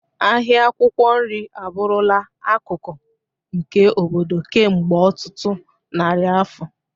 Ahịa akwụkwọ nri abụrụla akụkụ nke obodo kemgbe ọtụtụ narị afọ.